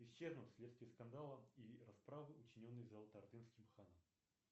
исчезнуть вследствие скандала и расправы учиненной золотоордынским ханом